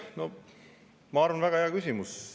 Ma arvan, et see on väga hea küsimus.